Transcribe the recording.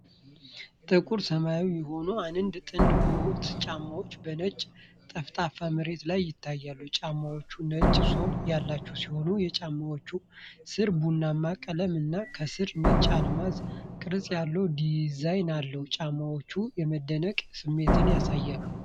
ጥቁር ሰማያዊ የሆኑ አንድ ጥንድ ቦት ጫማዎች በነጭ ጠፍጣፋ መሬት ላይ ይታያሉ። ጫማዎቹ ነጭ ሶል ያላቸው ሲሆን፣ የጫማው ሥር ቡናማ ቀለም እና ከስር ነጭ አልማዝ ቅርጽ ያለው ዲዛይን አለው። ጫማዎቹ የመደነቅን ስሜት ያሳያሉ።